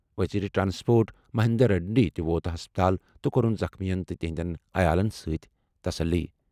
وزیر ٹرانسپورٹ مہندر ریڈی تہِ ووت ہسپتال تہٕ کوٚرُن زخمیَن تہٕ تِہنٛدٮ۪ن عیالَن تسلی دِژمٕژ۔